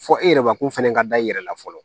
Fɔ e yɛrɛ ma ko fɛnɛ ka da i yɛrɛ la fɔlɔ